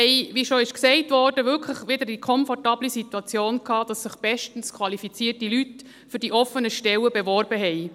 Wir hatten, wie bereits gesagt wurde, wirklich wieder die komfortable Situation, dass sich bestens qualifizierte Leute für die offenen Stellen beworben haben.